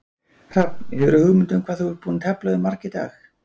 Hrafn, hefurðu hugmynd um hvað þú ert búinn að tefla við marga í dag?